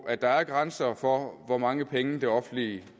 at der er grænser for hvor mange penge det offentlige i